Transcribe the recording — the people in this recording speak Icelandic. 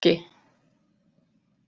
Aski